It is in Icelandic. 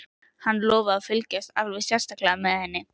Hann lofaði að fylgjast alveg sérstaklega með henni.